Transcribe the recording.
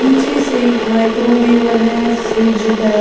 पीछे से एक माइक्रोवेवर है फ्रिज है।